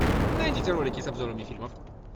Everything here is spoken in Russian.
найдите ролики с обзорами фильмов